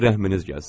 Rəhminiz gəlsin.